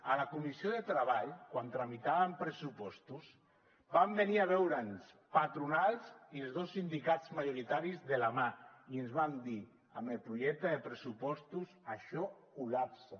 a la comissió de treball quan tramitàvem pressupostos van venir a veure’ns patronals i els dos sindicats majoritaris de la mà i ens van dir amb el projecte de pressupostos això col·lapsa